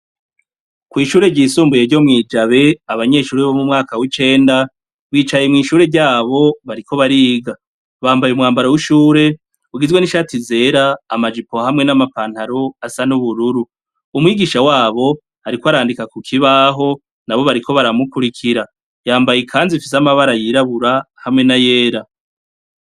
Kw'ishure ry'isumbuye ryo mwijabe abanyeshure bo mwumwaka wicenda bicaye mwishure ryabo bariko bariga, bambaye umwambaro wishure ugizwe nishati ryera amajipo hamwe namapantaro asa nubururu umwigisha wabo ariko arandika kukibaho nabo bariko baramukurikira yambaye ikanzu Ifise amabara yirabura hamwe nayera.